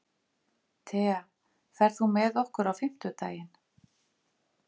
Thea, ferð þú með okkur á fimmtudaginn?